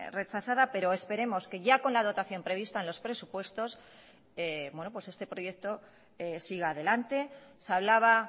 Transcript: rechazada pero esperemos que ya con la dotación prevista en los presupuestos este proyecto siga adelante se hablaba